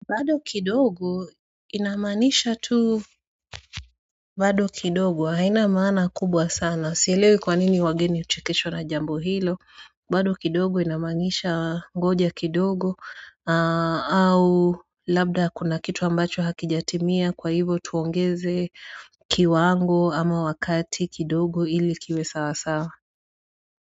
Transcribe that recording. Bado kidogo inamaanisha tu bado kidogo hainamaana kubwa sana sielewe kwa nini wageni huchekeshwa na jambo hilo bado kidogo inamaanisha ngoja kidogo au labda kuna kitu ambacho hakijatimia kwa hivo tuongeze kiwango ama wakati kidogo ili kiwe sawa sawa.